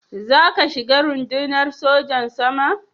Za ka shiga Rundunar Sojan Sama?